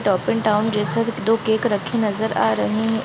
And टाउन जैसे दो केक नजर आ रहे हैं।